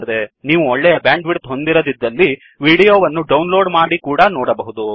ನೀವು ಒಳ್ಳೆಯ bandwidth ಹೊಂದಿರದಿದ್ದಲ್ಲಿ ವಿಡಿಯೋ ವನ್ನು ಡೌನ್ಲೋ್ಡ್ ಮಾಡಿ ಕೂಡಾ ನೋಡಬಹುದು